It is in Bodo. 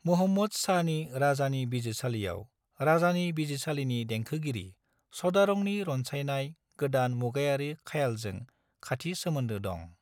मुहम्मद शाहनि राजानि बिजिरसालियाव राजानि बिजिरसालिनि देंखोगिरि सादारंनि रनसायनाय गोदान मुगायारि ख्यालजों खाथि सोमोन्दो दं।